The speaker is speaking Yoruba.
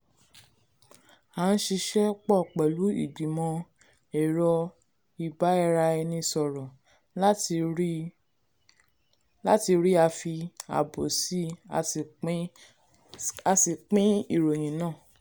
à ń ṣisẹ́ pọ̀ pẹ̀lú ìgbìmò ẹ̀rọ ìbáraenisòrò láti ríi a fi àbò síí a sì pín a sì pín ìròyìn náà